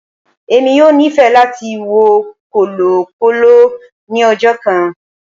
Emi yoo nifẹ lati wo kọlọkọlọ ni ọjọ kan.